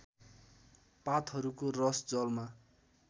पातहरूको रस जलमा